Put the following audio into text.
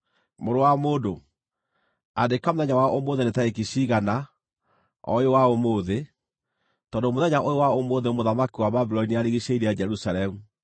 “Mũrũ wa mũndũ, andĩka mũthenya wa ũmũthĩ nĩ tarĩki ciigana, o ũyũ wa ũmũthĩ, tondũ mũthenya ũyũ wa ũmũthĩ mũthamaki wa Babuloni nĩarigiicĩirie Jerusalemu.